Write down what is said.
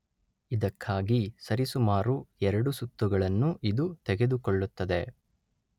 ಇದಕ್ಕಾಗಿ ಸರಿಸುಮಾರು ಎರಡು ಸುತ್ತು ಗಳನ್ನು ಇದು ತೆಗೆದುಕೊಳ್ಳುತ್ತದೆ.